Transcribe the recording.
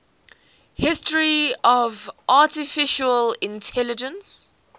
history of artificial intelligence